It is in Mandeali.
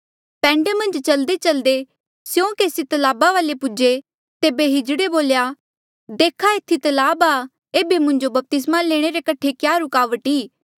पैंडे मन्झ चल्देचल्दे स्यों केसी तलाबा पूजे तेबे किन्नरे बोल्या देखा एथी तलाब आ एेबे मुंजो बपतिस्मा लैणे रे कठे क्या रूकावट ई